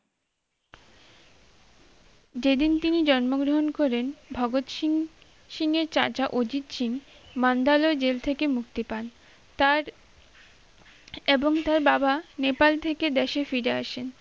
যেদিন তিনি জন্মগ্রহণ করেন ভগৎ সিং এর চাচা অজিত সিং মান্দালয় জেল থেকে মুক্তি পান তার এবং তার বাবা নেপাল থেকে দেশে ফিরে আসেন